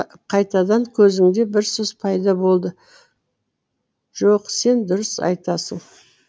қайтадан көзінде бір сұс пайда болды жоқ сен дұрыс айтасың